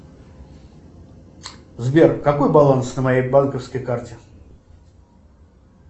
сбер какой баланс на моей банковской карте